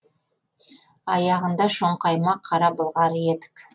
аяғында шоңқайма қара былғары етік